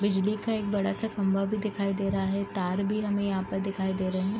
बिजली का एक बड़ा सा खम्बा भी दिखाई दे रहा है तार भी हमें यहाँ पर दिखाई दे रहे है।